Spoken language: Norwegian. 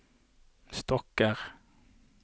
stokker